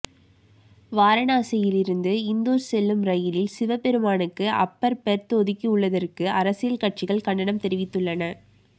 வாரணாசியிலிருந்து இந்தூர் செல்லும் ரயிலில் சிவபெருமானுக்கு அப்பர் பெர்த் ஒதுக்கி உள்ளதற்கு அரசியல் கட்சிகள் கண்டனம் தெரிவித்துள்ளன